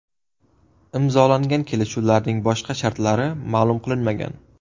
Imzolangan kelishuvlarning boshqa shartlari ma’lum qilinmagan.